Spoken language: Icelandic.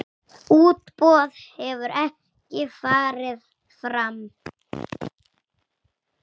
Útboð hefur ekki farið fram.